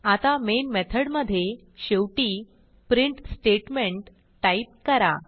आता मेन मेथडमधे शेवटी प्रिंट स्टेटमेंट टाईप करा